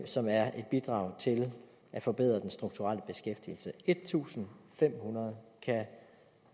som er et bidrag til at forbedre den strukturelle beskæftigelse en tusind fem hundrede kan